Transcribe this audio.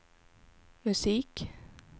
musik